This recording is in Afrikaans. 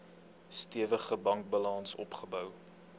stewige bankbalans opgebou